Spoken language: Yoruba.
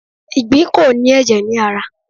Ìgbín ko ni èjè ni ara